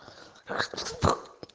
как ты спал